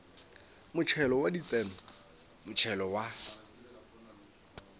motšhelo wa ditseno motšhelo wa